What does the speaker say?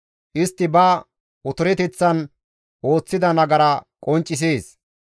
istti ba otoreteththan ooththida nagara qonccisees.